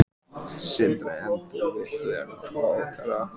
Sindri: En þú vilt vera ráðherra?